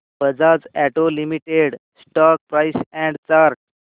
Bajaj auto limited stock price and chart